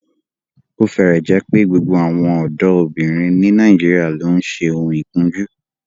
Ó fẹ́rẹ̀ẹ́ jẹ́ pé gbogbo àwọn ọ̀dọ́bìnrin ní Nàìjíríà ló ń ṣe oun ikunju